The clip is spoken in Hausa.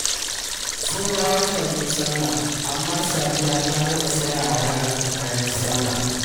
Saura wata biyu sallah amma Sadiya ta gama saya wa yaranta kayan sallah